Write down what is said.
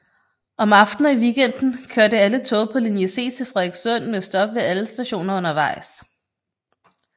Om aftenen og i weekenden kørte alle tog på linje C til Frederikssund med stop ved alle stationer undervejs